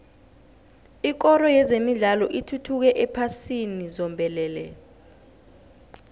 ikoro yezemidlalo ithuthukile ephasini zombelele